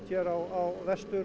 á